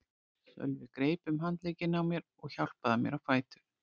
Sölvi greip um handlegginn á mér og hjálpaði mér á fætur.